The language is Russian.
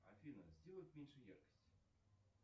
афина сделать меньше яркость